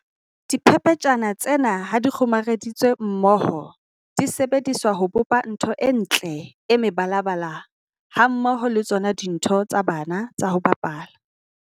Diphephetjhana tsena ha di kgomareditswe mmoho di sebediswa ho bopa ntho e ntle e mebalabala hammoho le tsona dintho tsa bana tsa ho bapala.